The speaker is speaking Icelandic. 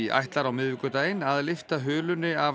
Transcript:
ætlar á miðvikudaginn að lyfta hulunni af